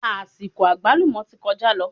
Àsìkò àgbálùmọ́ ti kọjá lọ